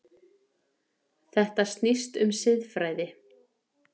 Þetta snýst um siðfræði.